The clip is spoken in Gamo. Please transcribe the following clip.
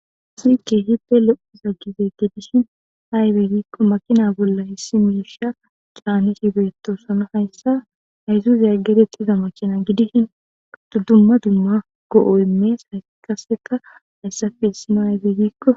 Sii keehippe lo'iza gibe gedishin aybe giikko makina bolla hissi mirsha caane hibeettosano hayssa hayzuzaya gedetti iza makina gidishin duddumma dumma go7o imees haykaseka hayssafe hissino hayfe giikko.